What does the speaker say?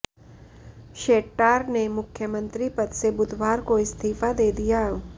शेट्टार ने मुख्यमंत्री पद से बुधवार को इस्तीफा दे दिया